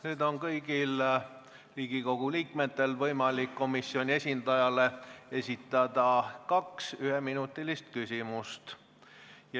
Nüüd on kõigil Riigikogu liikmetel võimalik esitada komisjoni esindajale kaks üheminutilist küsimust.